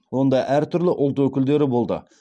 онда әр түрлі ұлт өкілдері болды